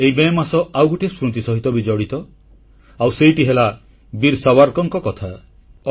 ଏହି ମେ ମାସ ଆଉ ଗୋଟିଏ ସ୍ମୃତି ସହିତ ବି ଜଡ଼ିତ ଆଉ ସେଇଟି ହେଲା ବୀର ସାବରକରଙ୍କ କଥା